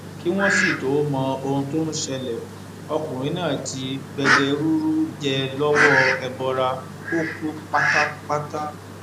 kí wọn sì tóó mọ ohun tó ń ṣẹlẹ ọkùnrin náà ti gbẹgẹrúrú jẹ lọwọ ẹbọra ó kú pátápátá